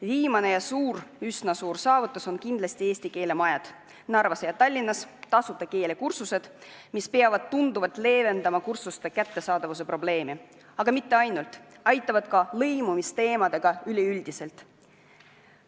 Viimane üsna suur saavutus oli kindlasti eesti keele majade avamine Narvas ja Tallinnas ning tasuta keelekursuste korraldamine, mis peaks tunduvalt leevendama kursuste kättesaadavuse probleemi, aga mitte ainult – need aitavad tegelda ka lõimumisteemadega üleüldiselt.